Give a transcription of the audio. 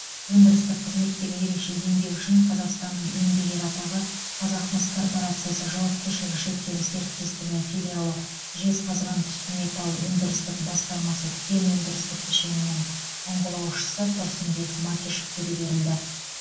өндірістік қызметтегі ерекше еңбегі үшін қазақстанның еңбек ері атағы қазақмыс корпорациясы жауапкершілігі шектеулі серіктестігі филиалы жезқазғантүстімет өндірістік басқармасы кен өндірістік кешенінің ұңғылаушысы тұрсынбек макишевке де берілді